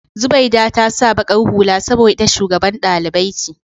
Zubaida ta sa baƙar hula saboda ita shugaban dalibai ce.